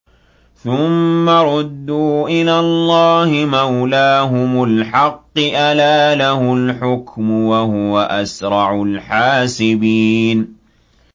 ثُمَّ رُدُّوا إِلَى اللَّهِ مَوْلَاهُمُ الْحَقِّ ۚ أَلَا لَهُ الْحُكْمُ وَهُوَ أَسْرَعُ الْحَاسِبِينَ